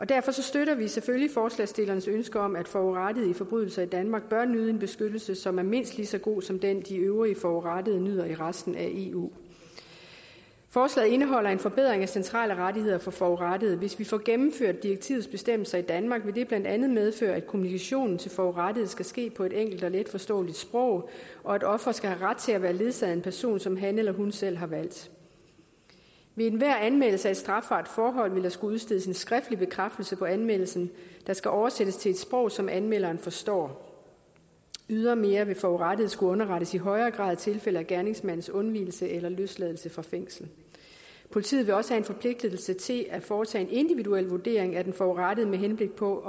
derfor støtter vi selvfølgelig forslagsstillernes ønske om at forurettede for forbrydelser i danmark bør nyde en beskyttelse som er mindst lige så god som den de øvrige forurettede nyder i resten af eu forslaget indeholder en forbedring af centrale rettigheder for forurettede hvis vi får gennemført direktivets bestemmelser i danmark vil det blandt andet medføre at kommunikationen til forurettede skal ske på et enkelt og letforståeligt sprog og at offeret skal have ret til at være ledsaget af en person som han eller hun selv har valgt ved enhver anmeldelse af et strafbart forhold vil der skulle udstedes en skriftlig bekræftelse på anmeldelsen der skal oversættes til et sprog som anmelderen forstår ydermere vil forurettede skulle underrettes i højere grad i tilfælde af gerningsmandens undvigelse eller løsladelse fra fængsel politiet vil også have en forpligtelse til at foretage en individuel vurdering af den forurettede med henblik på